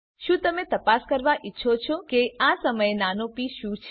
શું તમે તપાસ કરવા ઈચ્છો છો કે આ સમયે નાનો પ શું છે